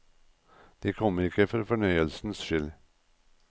De kommer ikke for fornøyelsens skyld.